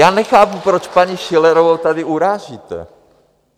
Já nechápu, proč paní Schillerovou tady urážíte?